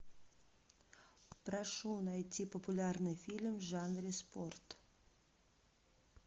прошу найти популярный фильм в жанре спорт